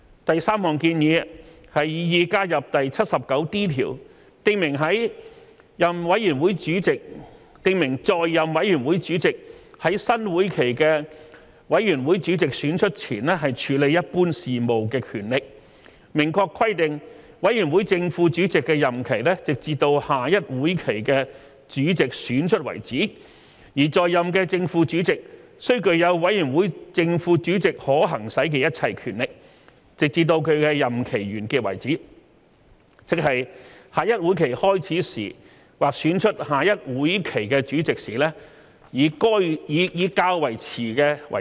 第三項建議是擬議加入第 79D 條，訂明在任委員會主席在新會期的委員會主席選出前處理一般事務的權力，明確規定委員會正副主席的任期直至下一會期的主席選出為止，而在任的正副主席須具有委員會正副主席可行使的一切權力，直至其任期完結為止，即下一會期開始時或選出下一會期的主席時，以較遲者為準。